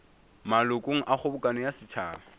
malokong a kgobokano ya setšhaba